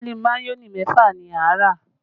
Páálí mayonẹ mẹ́fà ni a rà